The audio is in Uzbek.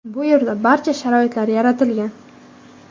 Bu yerda barcha sharoitlar yaratilgan.